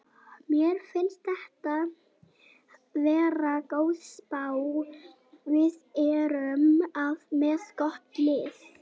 Mér finnst þetta vera góð spá, við erum með gott lið.